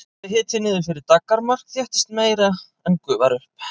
fari hiti niður fyrir daggarmark þéttist meira en gufar upp